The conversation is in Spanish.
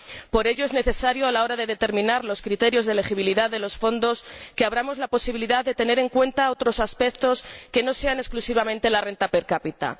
Por ello, es necesario, a la hora de determinar los criterios de elegibilidad de los fondos, que abramos la posibilidad de tener en cuenta otros aspectos que no sean exclusivamente la renta per cápita.